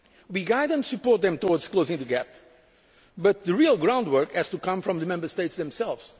We guide and support them towards closing the gap, but the real groundwork has to come from the Member States themselves.